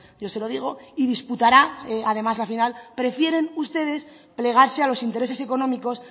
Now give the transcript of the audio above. yo se lo digo y disputará además la final prefieren ustedes plegarse a los intereses económicos